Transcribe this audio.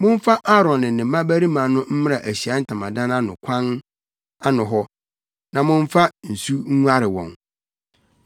Momfa Aaron ne ne mmabarima no mmra Ahyiae Ntamadan no kwan ano hɔ, na momfa nsu nguare wɔn.